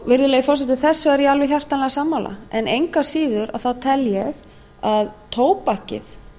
virðulegi forseti þessu er ég alveg hjartanlega sammála engu að síður tel ég að tóbakið